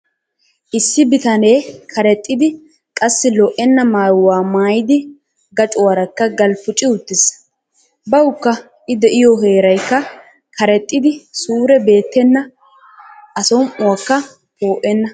Issi bitanee karexxidi qassi lo'enna maayuwaa maayidi gacuwaarakka galppuci uttis. Bawukka I de'iyoo heerayikka karexxidi suure beettenna a som'oykka poo'enna.